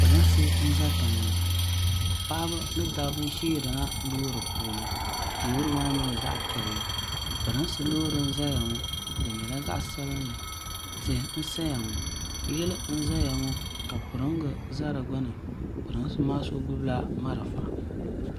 pɛrinsi n za tɛŋɔ paɣ' ba ni da ba ʒɛla lori puuni lori maa nyɛla zaɣ' piɛlli pɛrinsi lori zaya ŋɔ di nyɛla zaɣ' sabinli tihi n saya ŋɔ yili ŋɔ ka pɛirnga za di gbani pɛrinsi maa so gbala mariƒa